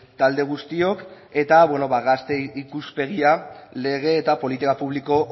talde guztiok eta gazte ikuspegia lege eta politika publiko